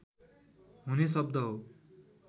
हुने शब्द हो